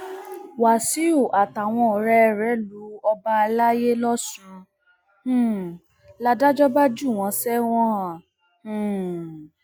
wàsíù àtàwọn ọrẹ rẹ lu ọba àlàyé lọsùn um ládàjọ bá jù wọn sẹwọn um